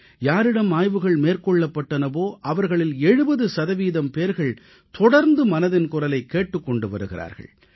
யாரிடம் ஆய்வுகள் மேற்கொள்ளப்பட்டனவோ அவர்களில் 70 சதவீதம் பேர் தொடர்ந்து மனதின் குரலைக் கேட்டுக் கொண்டு வருகிறார்கள்